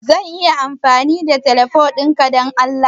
Zan iya amfani da teleho dinga Dan Allah?